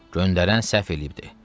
Göndərən səhv eləyibdi.